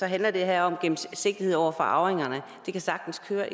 handler det her om gennemsigtighed over for arvingerne det kan sagtens køre